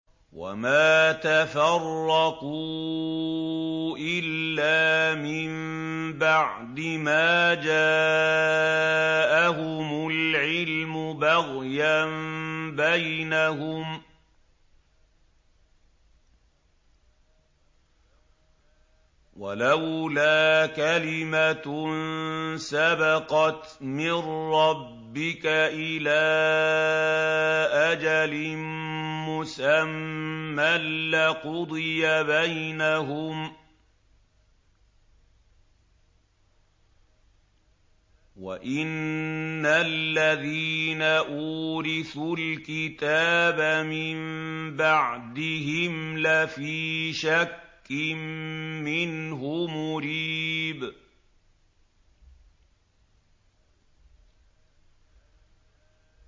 وَمَا تَفَرَّقُوا إِلَّا مِن بَعْدِ مَا جَاءَهُمُ الْعِلْمُ بَغْيًا بَيْنَهُمْ ۚ وَلَوْلَا كَلِمَةٌ سَبَقَتْ مِن رَّبِّكَ إِلَىٰ أَجَلٍ مُّسَمًّى لَّقُضِيَ بَيْنَهُمْ ۚ وَإِنَّ الَّذِينَ أُورِثُوا الْكِتَابَ مِن بَعْدِهِمْ لَفِي شَكٍّ مِّنْهُ مُرِيبٍ